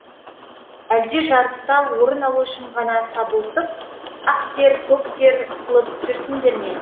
әлде жарыста орын алу үшін ғана сабылтып ақ тер көк тер қылып жүрсіңдер ме